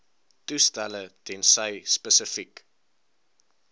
toestelle tensy spesifiek